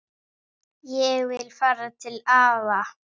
Ég vil fara til afa